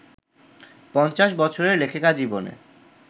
৫০ বছরের লেখিকা-জীবনে